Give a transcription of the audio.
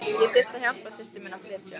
Ég þurfti að hjálpa systur minni að flytja.